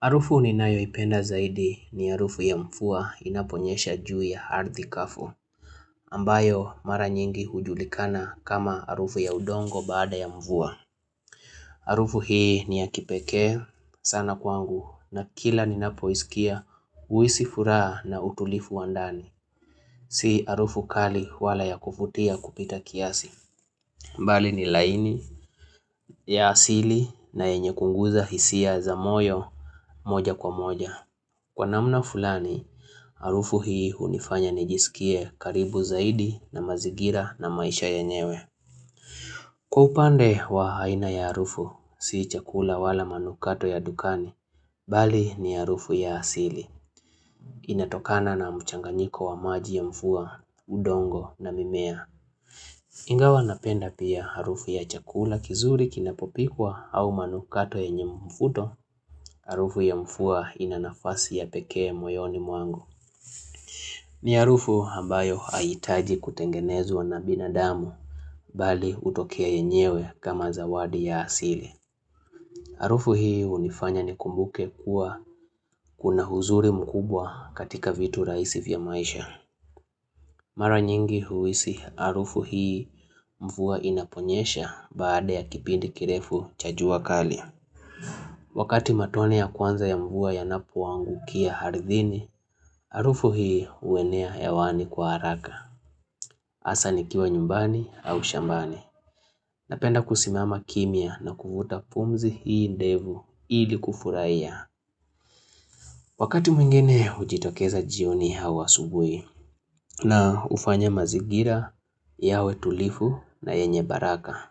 Arufu ninayoipenda zaidi ni arufu ya mvua inaponyesha juu ya harthi kafu, ambayo mara nyingi hujulikana kama arufu ya udongo baada ya mfuwa. Arufu hii ni ya kipekee sana kwangu na kila ninapoisikia uhisi furaha na utulifu wa ndani. Si arufu kali wala ya kufutia kupita kiasi. Mbali ni laini ya asili na yenye kuguza hisia za moyo moja kwa moja. Kwa namna fulani, arufu hii hunifanya nijisikie karibu zaidi na mazigira na maisha yenyewe. Kwa upande wa aina ya arufu, si chakula wala manukato ya dukani, bali ni arufu ya asili. Inatokana na mchanganyiko wa maji ya mvua, udongo na mimea. Ingawa napenda pia harufu ya chakula kizuri kinapopikwa au manukato yenye mfuto, arufu ya mfuwa inanafasi ya pekee moyoni muangu. Ni arufu hambayo haitaji kutengenezwa na binadamu bali utokea yenyewe kama zawadi ya asili. Arufu hii hunifanya nikumbuke kuwa kuna huzuri mkubwa katika vitu raisi vya maisha. Mara nyingi huisi arufu hii mvuwa inaponyesha baada ya kipindi kirefu cha jua kali. Wakati matone ya kwanza ya mvua yanapoangukia harithini, arufu hii huenea hewani kwa haraka. Hasa nikiwa nyumbani au shambani Napenda kusimama kimya na kuvuta pumzi hii ndevu ili kufurahia Wakati mwingene hujitokeza jioni au asubui na hufanya mazigira yawe tulifu na yenye baraka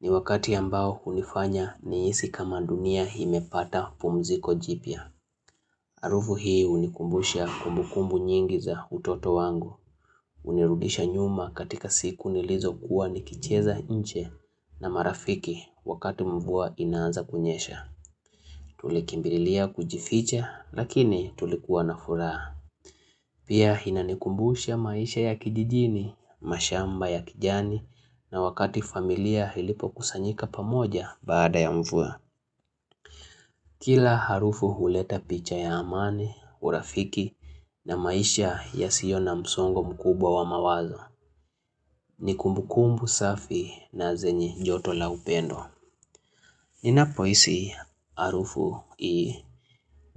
ni wakati ambao hunifanya nihisi kama dunia hii imepata pumziko jipyaa Arufu hii hunikumbusha kumbukumbu nyingi za utoto wangu Unirudisha nyuma katika siku nilizokuwa nikicheza nche na marafiki wakati mvua inaanza kunyesha. Tulikimbililia kujificha lakini tulikuwa na furaha. Pia inanikumbusha maisha ya kijijini, mashamba ya kijani na wakati familia ilipokusanyika pamoja baada ya mvua. Kila harufu huleta picha ya amani, urafiki na maisha yasio na msongo mkubwa wa mawazo. Ni kumbukumbu safi na zenye joto la upendo Ninapohisi arufu ii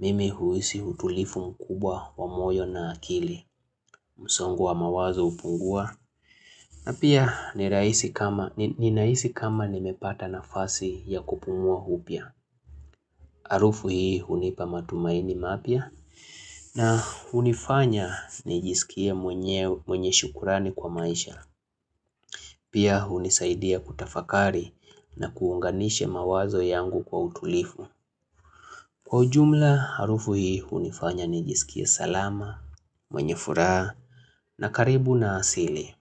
Mimi huisi utulifu mkubwa wa moyo na akili Musongo wa mawazo hupungua na pia ninahisi kama nimepata nafasi ya kupumua upya Arufu hii hunipa matumaini mapya na hunifanya nijisikie mwenye shukurani kwa maisha Pia hunisaidia kutafakari na kuunganisha mawazo yangu kwa utulifu. Kwa ujumla, arufu hii hunifanya nijisikie salama, mwenye furaha na karibu na asili.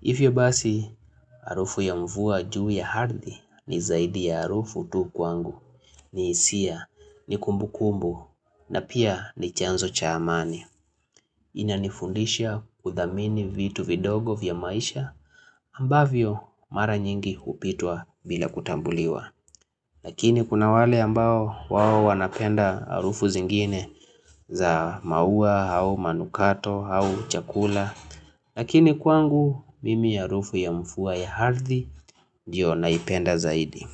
Ivyo basi, arufu ya mvua juu ya hardhi ni zaidi ya arufu tu kwangu. Ni hisia, ni kumbukumbu na pia ni chanzo cha amani. Inanifundisha kudhamini vitu vidogo vya maisha ambavyo mara nyingi hupitwa bila kutambuliwa Lakini kuna wale ambao wao wanapenda arufu zingine za maua au manukato au chakula Lakini kwangu mimi ya arufu ya mfuwa ya hardhi ndiyo naipenda zaidi.